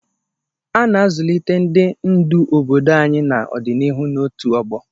A na-azụlite ndị ndu obodo anyị n'ọdịnihu na otu ọgbọ.